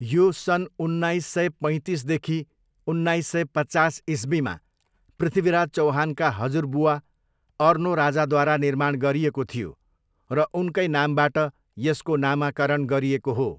यो सन् उन्नाइस सय पैँतिसदेखि उन्नाइस सय पचास इस्वीमा पृथ्वीराज चौहानका हजुरबुवा अर्नोराजाद्वारा निर्माण गरिएको थियो र उनकै नामबाट यसको नामाकरण गरिएको हो।